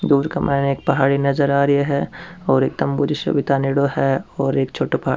दूर के मायने एक पहाड़ी नजर आ रही है और एक तम्बू जिस्यो भी ताणयोडो है और एक छोटो --